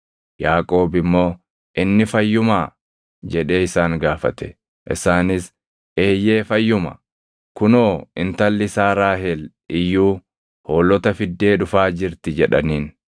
Yaaqoob immoo, “Inni fayyumaa?” jedhee isaan gaafate. Isaanis, “Eeyyee, fayyuma; kunoo intalli isaa Raahel iyyuu hoolota fiddee dhufaa jirti” jedhaniin.